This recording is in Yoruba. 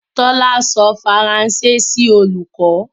Tóla sọ Faranse sí olùkọ̀ náà.